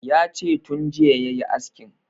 Yace tun jiya yayi askin